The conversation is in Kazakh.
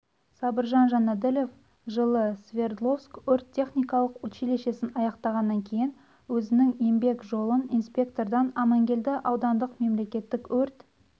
сабыржан жанәділов жылы свердловск өрт-техникалық училищесін аяқтағаннан кейін өзінің еңбек жолын инспектордан амангелді аудандық мемлекеттік өрт